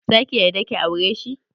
Zaki yarda ki aureshi?